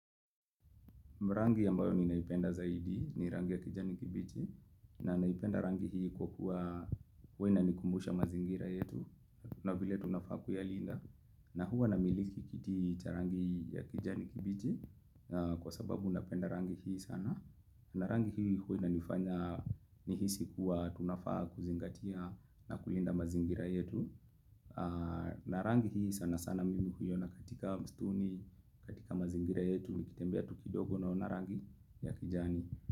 Rangi ambayo ninaipenda zaidi ni rangi ya kijani kibichi na naipenda rangi hii kwa kuwa huwa ina nikumbusha mazingira yetu na vile tunafaa kuyalinda na huwa na miliki kiti cha rangi ya kijani kibichi kwa sababu napenda rangi hii sana. Narangi hii huwa ina nifanya ni hisi kuwa tunafaa kuzingatia na kulinda mazingira yetu Narangi hii sana sana mimi huiona katika mistuni katika mazingira yetu nikitembea tukidogo naona rangi ya kijani.